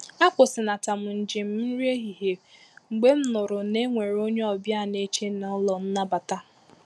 A kwụsịnata m njem nri ehihie mgbe m nụrụ na e nwere onye ọbịa na-eche n’ụlọ nnabata